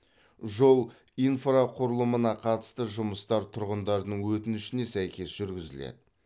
жол инфрақұрылымына қатысты жұмыстар тұрғындарының өтінішіне сәйкес жүргізіледі